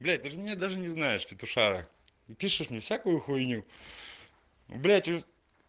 блять ты же меня даже не знаешь петушара и пишешь мне всякую хуйню блять